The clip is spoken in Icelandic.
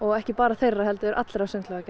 ekki bara þeirra heldur allra